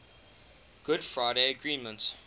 good friday agreement